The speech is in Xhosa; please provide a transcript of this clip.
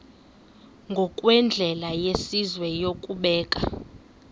ngokwendlela yesizwe yokubeka